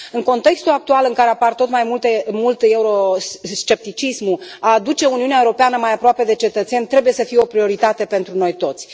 În contextul actual în care apare tot mai mult euroscepticismul a aduce Uniunea Europeană mai aproape de cetățeni trebuie să fie o prioritate pentru noi toți.